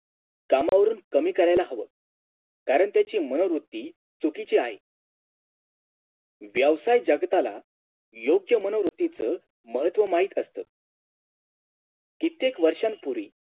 कामावरून कमी करायला हवं कारण त्याची मनोवृत्ती चुकीची आहे व्यावसाय जगताला योग्य मनोवृत्तीच महत्व माहित असत कित्येक वर्षांपूर्वी